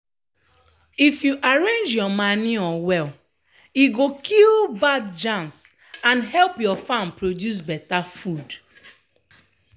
if you arrange your manure well e go kill bad germs and help your farm produce beta food.